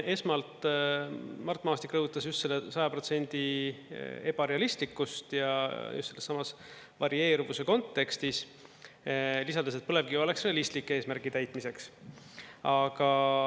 Esmalt Mart Maasik rõhutas just selle 100% ebarealistlikkust ja just sellessamas varieeruvuse kontekstis, lisades, et põlevkivi oleks realistlik eesmärgi täitmiseks.